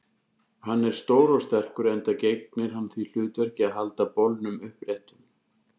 Hann er stór og sterkur, enda gegnir hann því hlutverki að halda bolnum uppréttum.